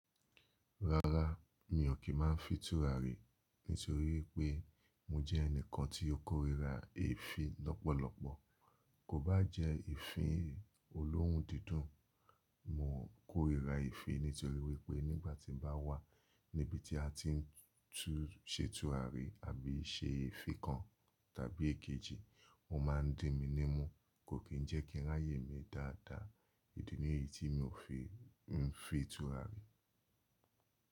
Rárá, mi ò kí má n fin turari nítorí pé mo jẹ́ ẹnìkan tí ó kórìíra èéfín lọ́pọ̀lọpọ̀, kò bá jẹ́ eefin olóhun dídùn, mo kórìíra èéfín nítorí wípé nígbàtí bá wà níbi tí a ti n tú u, sẹ́ tùrárí àbí i se èéfín kan tàbí ikejì, wọ́n má ń dín mi nímú, kò kí n jẹ́ kíráyè mi dáadáa. Idi ni yii tí mi ò fi n fin turari.